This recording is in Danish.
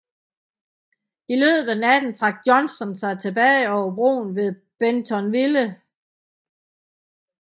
I løbet af natten trak Johnston sig tilbage over broen ved Bentonville